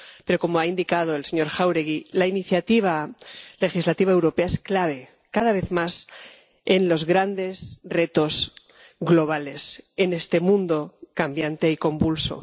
pero, como ha indicado el señor Jáuregui, la iniciativa legislativa europea es clave, cada vez más, en los grandes retos globales en este mundo cambiante y convulso.